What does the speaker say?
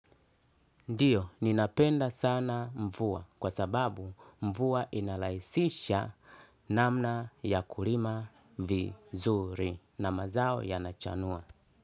Ndiyo, ninapenda sana mvuwa kwa sababu mvuwa inalaisisha namna ya kulima vizuri na mazao yanachanua.